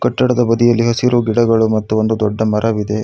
ಕಟ್ಟಡದ ಬದಿಯಲ್ಲಿ ಹಸಿರು ಗಿಡಗಳು ಮತ್ತು ಒಂದು ದೊಡ್ಡ ಮರವಿದೆ.